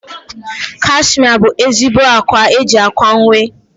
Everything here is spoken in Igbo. Kashmia bụ ezigbo ákwá eji ákwà uwe.